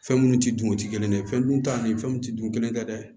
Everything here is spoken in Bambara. Fɛn minnu tɛ dun o tɛ kelen ye fɛn dun ta ni fɛnw tɛ dun kelen tɛ dɛ